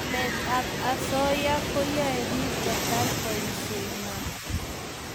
namet ab asoya ko yae piik kotar poshe ngwai